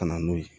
Ka na n'o ye